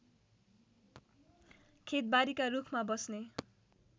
खेतबारीका रूखमा बस्ने